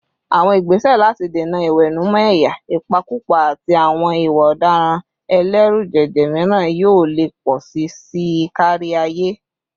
Àwọn ìgbésẹ̀ láti dènà ìwẹ̀nùmọ́ ẹ̀yà, ìpakúpa, àti àwọn ìwà ọ̀daràn ẹlẹ́rùjẹ̀jẹ̀ míràn yóò lè pọ̀ sí i kárí ayé.